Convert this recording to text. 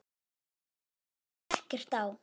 Það liggur ekkert á.